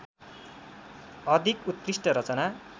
अधिक उत्कृष्ट रचना